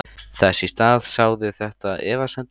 Þess í stað sáði þetta efasemdum.